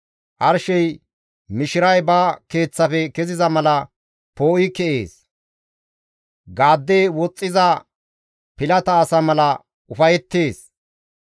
Arshey mishiray ba keeththafe keziza mala poo7i ke7ees; gaadde woxxiza pilata asa mala ufayettees.